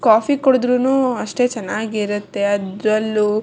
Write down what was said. coffee ಕುಡಿದ್ರೂನೂ ಅಷ್ಟೇ ಚೆನ್ನಾಗಿ ಇರುತ್ತೆ ಅದ್ರಲ್ಲೂ-